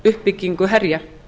uppbyggingu herja